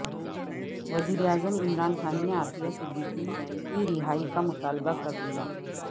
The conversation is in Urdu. وزیر اعظم عمران خان نے عافیہ صدیقی کی رہائی کا مطالبہ کر دیا